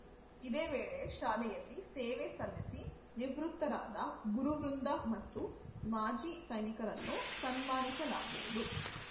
ಇದೇ ವೇಳೆ ಶಾಲೆಯಲ್ಲಿ ಸೇವೆ ಸಲ್ಲಿಸಿ ನಿವೃತ್ತರಾದ ಗುರುವೃಂದ ಮತ್ತು ಮಾಜಿ ಸೈನಿಕರನ್ನು ಸನ್ಮಾನಿಸಲಾಗುವುದು